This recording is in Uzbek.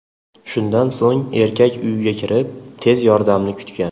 Shundan so‘ng erkak uyiga kirib, tez yordamni kutgan.